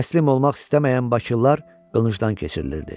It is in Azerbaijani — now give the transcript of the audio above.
Təslim olmaq istəməyən bakılılar qılıncdan keçirilirdi.